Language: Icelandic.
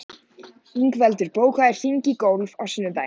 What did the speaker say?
Ingveldur, bókaðu hring í golf á sunnudaginn.